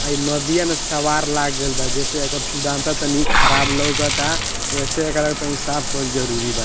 आ इ नदिया में सवार लाग गेल बा जैसे एकर सुंदरता तनी खराब लगता ऐसे एकरा तनी साफ़ कईल जरुरी बा।